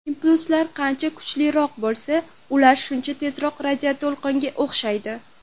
Impulslar qancha kuchliroq bo‘lsa, ular shuncha tezkor radioto‘lqinga o‘xshaydi.